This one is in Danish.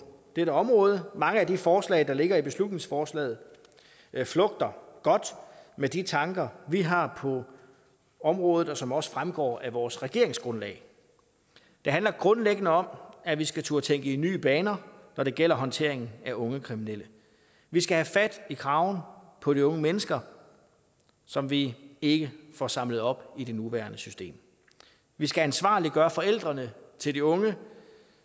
dette område mange af de forslag der ligger i beslutningsforslaget flugter godt med de tanker vi har på området og som også fremgår af vores regeringsgrundlag det handler grundlæggende om at vi skal turde tænke i nye baner når det gælder håndteringen af unge kriminelle vi skal have fat i kraven på de unge mennesker som vi ikke får samlet op i det nuværende system vi skal ansvarliggøre forældrene til de unge